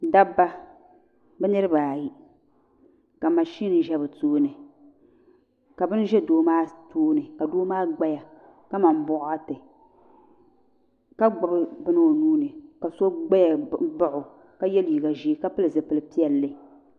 Dabba bɛ niriba ayi ka mashiin ʒe bɛ tooni ka bini ʒe doo maa tooni ka doo maa ɡbaya kaman bɔɣati ka ɡbubi bini o nuu ni ka so ɡbaya baɣi o ka ye liiɡa ʒee ka pili zipil' piɛlli